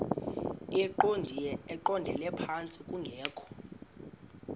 eqondele phantsi kungekho